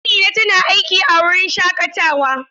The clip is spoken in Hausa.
Amina tana aiki a wurin shaƙatawa.